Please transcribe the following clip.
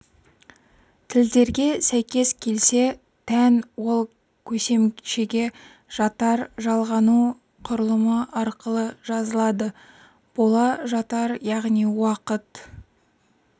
тілдерге сәйкес келсе тән ол көсемшеге жатар- жалғану құрылымы арқылы жазылады бола жатар яғни уақыт